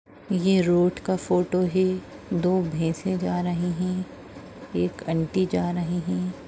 ये रोड़ का फोटो है दो भैसे जा रहे है एक आंटी जा रहे है।